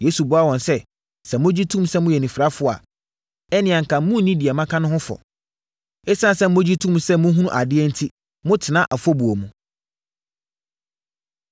Yesu buaa wɔn sɛ. “Sɛ mogye tom sɛ moyɛ anifirafoɔ a, ɛnneɛ anka monni deɛ maka no ho fɔ. Esiane sɛ mogye to mu sɛ mohunu adeɛ enti motena afɔbuo mu.”